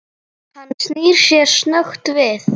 Hann snýr sér snöggt við.